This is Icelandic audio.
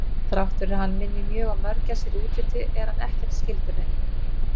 Þrátt fyrir að hann minni mjög á mörgæsir í útliti er hann ekkert skyldur þeim.